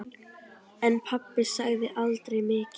En pabbi sagði aldrei mikið.